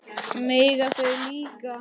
Mega þau líka?